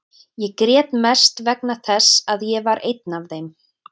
Ég grét mest vegna þess að ég var einn af þeim.